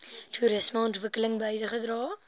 toerisme ontwikkeling bygedra